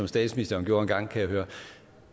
statsministeren gjorde engang kan jeg høre